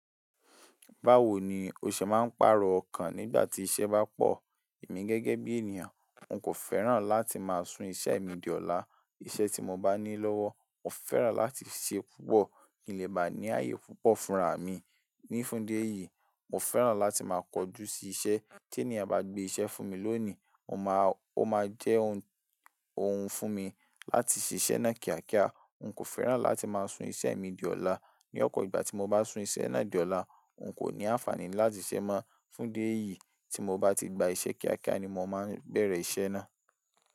Báwo ni o ṣe máa ń pàrọ̀ ọkàn nígbà tí iṣẹ́ bá pọ̀? Èmi gẹ́gẹ́ bí ènìyàn, n kò fẹ́ràn láti máa sun iṣẹ́ mi di ọ̀la. Iṣẹ́ tí mo bá ní lọ́wọ́, mo fẹ́ràn láti ṣe púpọ̀ kí n lè bá ní ààyè púpọ̀ fúnraà mi. Ní fún idi eyìí, mo fẹ́ràn láti máa kojú sí iṣẹ́. Tí ènìyàn bá gbé iṣẹ́ fún mi lónìí, ó máa jẹ́ ohun fún mi láti ṣe iṣẹ́ náà kíákíá. N kò fẹ́ràn láti máa sun iṣẹ́ mi di ọ̀la. Ní ọ̀pọ̀ ìgbà tí mo bá sun iṣẹ́ náà di ọ̀la, n kò ní àǹfààní láti ṣẹ́ mọ́. Fún idi eyìí, tí mo bá ti gba iṣẹ́ kíákíá ni mo máa bẹ̀rẹ̀ iṣẹ́ náà.